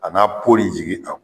A n'a pɔ in